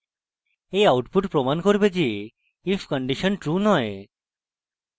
এই output প্রমান করে যে if condition true দেয়